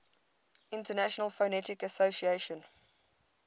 international phonetic association